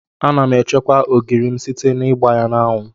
Ana m echekwa ogiri m site n'igba ya n'anwụ.